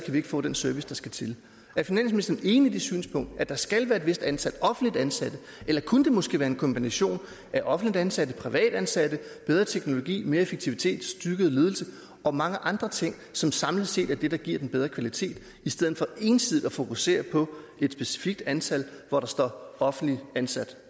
vi ikke få den service der skal til er finansministeren enig i det synspunkt at der skal være et vist antal offentligt ansatte eller kunne det måske være en kombination af offentligt ansatte privatansatte bedre teknologi mere effektivitet styrket ledelse og mange andre ting som samlet set er det der giver den bedre kvalitet i stedet for ensidigt at fokusere på et specifikt antal hvor der står offentligt ansat